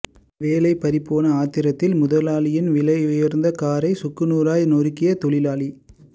வேலை பறிபோன ஆத்திரத்தில் முதலாளியின் விலையுயர்ந்த காரை சுக்குநூறாய் நொறுக்கிய தொழிலாளி